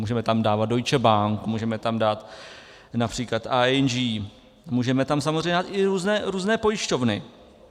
Můžeme tam dávat Deutsche Bank, můžeme tam dát například ING, můžeme tam samozřejmě dát i různé pojišťovny.